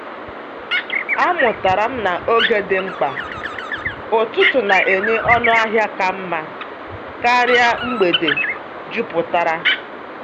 Amụtara m na oge dị mkpa; ụtụtụ na-enye ọnụ ahịa ka mma karịa mgbede jupụtara.